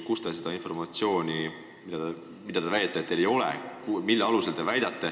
Kust te oma informatsiooni saate?